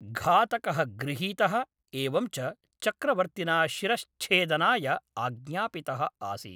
घातकः गृहीतः एवञ्च चक्रवर्तिना शिरश्च्छेदनाय आज्ञापितः आसीत्।